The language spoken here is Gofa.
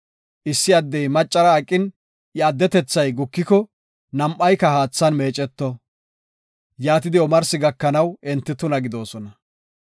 Issi addey maccara aqin, iya atunthay gukiko, nam7ayka haathan meeceto; yaatidi omarsi gakanaw enti tuna gidoosona.